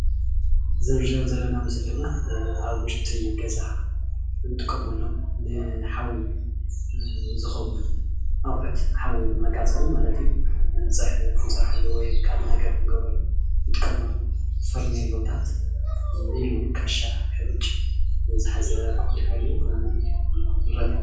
እዚ እንሪኦ ዘለና ምስሊ ድማ ኣብ ውሽጢ ገዛ እንጥቀመሎም ንሓዊ ዝከውን ኣቁሑት ሓዊ መቃፀሊ ማለት እዩ ፀብሒ ክንሰርሐሉ ወይ ድማ ካልእ ነገር ክነገብረሉ እንጥቀመሉ ፈርኔሎታት ኢሉ እውን ካሻ ሕሩጭ ዝሓዘ ክኮን ይክእል እዩ፡፡